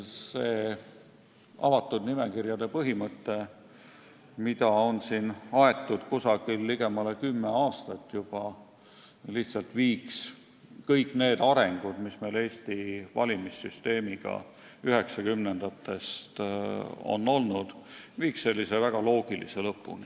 See juba ligemale kümme aastat aetud avatud nimekirjade põhimõte lihtsalt viiks 1990-ndatest alanud valimissüsteemi arengu väga loogilise lõpuni.